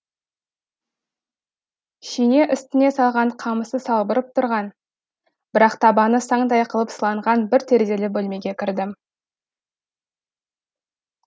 шине үстіне салған қамысы салбырап тұрған бірақ табаны саңдай қылып сыланған бір терезелі бөлмеге кірдім